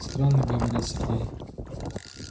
странно говорит сергей